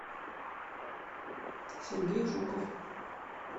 сергей жуков